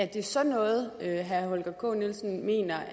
det sådan noget herre holger k nielsen mener